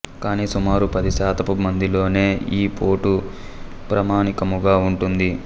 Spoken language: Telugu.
కాని సుమారు పది శాతపు మందిలోనే యీ పోటు ప్రామాణికముగా ఉంటుంది